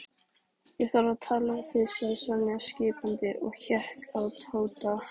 Ég þarf að tala við þig sagði Sonja skipandi og hékk á Tóta.